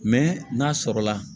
n'a sɔrɔla